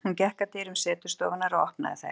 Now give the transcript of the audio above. Hún gekk að dyrum setustofunnar og opnaði þær.